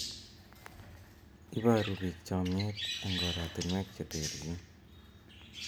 Iporu piik chomyet eng' oratinwek che terchin.